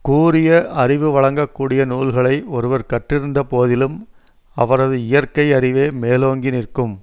கூரிய அறிவு வழங்க கூடிய நூல்களை ஒருவர் கற்றிருந்த போதிலும் அவரது இயற்கை அறிவே மேலோங்கி நிற்கும்